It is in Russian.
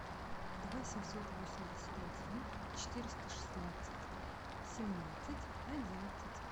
два семьсот восемьдесят один четыреста шестнадцать семнадцать одиннадцать